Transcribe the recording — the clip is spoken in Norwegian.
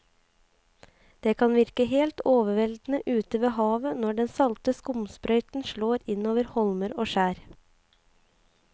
Det kan virke helt overveldende ute ved havet når den salte skumsprøyten slår innover holmer og skjær.